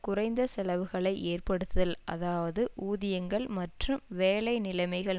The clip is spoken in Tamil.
குறைந்த செலவுகளை ஏற்படுத்துதல் அதாவது ஊதியங்கள் மற்றும் வேலை நிலைமைகள்